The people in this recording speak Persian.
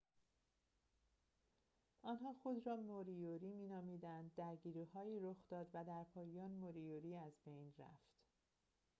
آنها خود را موریوری می نامیدند درگیری‌هایی رخ داد و در پایان موریوری از بین رفت